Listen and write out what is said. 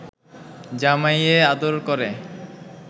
জামাইয়ে আদর করে